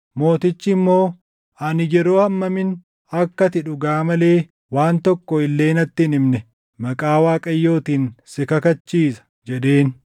Mootichi immoo, “Ani yeroo hammamin akka ati dhugaa malee waan tokko illee natti hin himne maqaa Waaqayyootiin si kakachiisa?” jedheen.